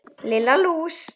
Lilla lús!